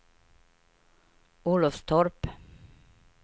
Olofstorp